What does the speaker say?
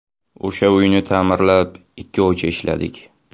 O‘sha uyni ta’mirlab ikki oycha ishladik.